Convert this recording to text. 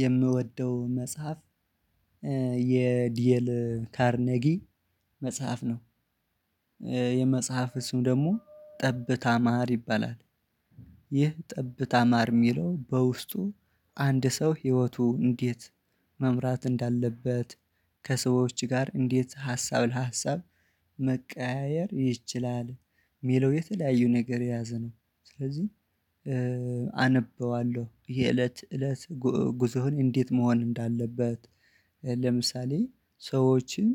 የምወደው መጽሐፍ የዲኤል ካርኔጊ መጽሐፍ ነው። የመጽሐፍ ስም ደግሞ ጠብታ ማር ይባላል። ይህ ጠብታ ማር ሚለው በውስጡ አንድ ሰው ህይወቱ እንዴት መምራት እንዳለበት ከሰዎች ጋር እንዴት ሀሳብ ለሀሳብ መቀያየር ይችላል? ሚለው የተለያዩ ነገር የያዘ ነው። ስለዚህ አነበዋለሁ ይሄ እለት እለት ጉእ ጉዞህን እንዴት መሆን እንዳለበት ለምሳሌ ሰዎችን